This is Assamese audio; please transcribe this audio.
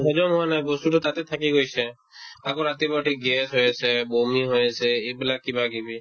কাৰণ হজম হোৱা নাই বস্তুতো তাতে থাকি গৈছে আকৌ ৰাতিপুৱাতে gas হৈ আছে, বমি হৈ আছে এইবিলাক কিবাকিবি